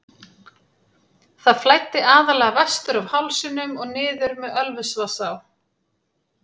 Það flæddi aðallega vestur af hálsinum og niður með Ölfusvatnsá.